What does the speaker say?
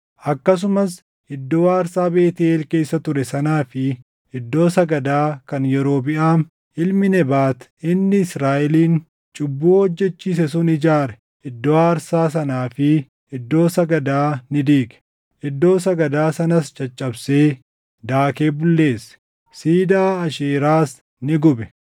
Akkasumas iddoo aarsaa Beetʼeel keessa ture sanaa fi iddoo sagadaa kan Yerobiʼaam ilmi Nebaat inni Israaʼelin cubbuu hojjechiise sun ijaare iddoo aarsaa sanaa fi iddoo sagadaa ni diige. Iddoo sagadaa sanas caccabsee, daakee bulleesse; siidaa Aasheeraas ni gube.